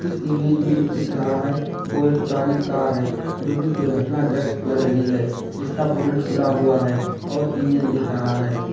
Image में जो दिख रहा है वो एक पुरानी कार है जो कि दुर्घटनाग्रस्त लग रही है जीसका बोनट खुला हुआ है और इंजन दिख रहा है।